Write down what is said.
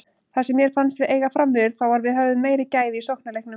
Það sem mér fannst við eiga framyfir þá var við höfðum meiri gæði í sóknarleiknum.